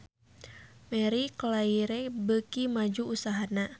Marie Claire beuki maju usahana